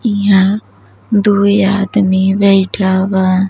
इहा दुई आदमी बैठा बा।